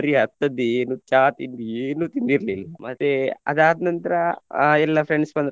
ಅತ್ತದ್ದೇ ಏನು ಚಾ ತಿಂಡಿ ಏನು ತಿಂದಿರ್ಲಿಲ್ಲ ಮತ್ತೆ ಅದ್ ಆದ್ನಂತ್ರ ಆ ಎಲ್ಲ friends ಬಂದ್ರು.